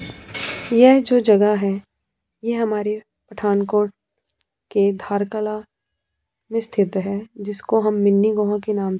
यह जो जगह है यह हमारी पठानकोट के धारकला में स्थित है जिसको हम मिन्नी गोह के नाम--